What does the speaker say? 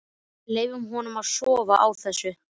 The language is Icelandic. Leyfa honum að sofa á þessu.